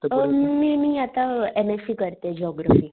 अ मी मी आता एम एस सी करते जिओग्राफी